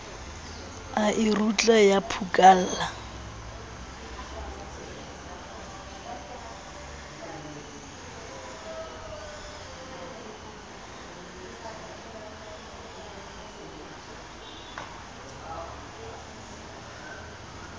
a e rutla ya phukalla